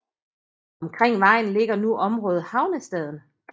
Omkring vejen ligger nu området Havnestaden